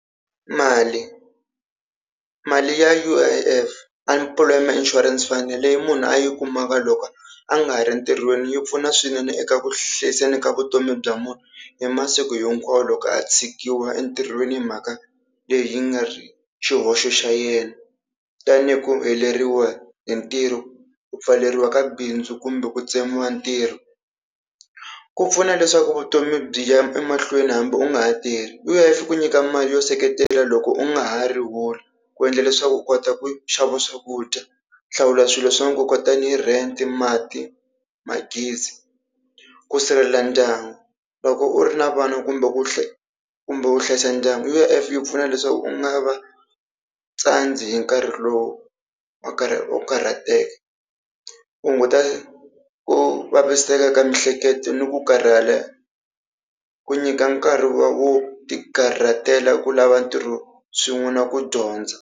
Mali, mali ya U_I_F Unemployment Insurance Fund leyi munhu a yi kumaka loko a nga ha ri ntirhweni, yi pfuna swinene eka ku hlayiseni ka vutomi bya munhu hi masiku hinkwawo loko a tshikiwa entirhweni hi mhaka leyi yi nga ri xihoxo xa yena. Tanihi ku heleriwa hi ntirho, ku pfaleriwa ka bindzu kumbe ku tsemiwa ntirho. Ku pfuna leswaku vutomi byi ya emahlweni hambi u nga ha tirhi U_I_F yi ku nyika mali yo seketela loko u nga ha ri holi, ku endla leswaku u kota ku xava swakudya, ku hlawula swilo swa nkoka tanihi rent, mati magezi. Ku sirhelela ndyangu loko u ri na vana kumbe ku kumbe u hlayisa ndyangu U_I_F yi pfuna leswaku u nga va tsandzi hi nkarhi lowu u wo karhateka. Ku hunguta ku vaviseka ka miehleketo ni ku karhala, ku nyika nkarhi wo tikarhatela ku lava ntirho swin'we na ku dyondza.